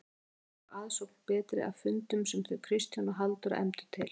Sömuleiðis var aðsókn betri að fundum sem þau Kristján og Halldóra efndu til.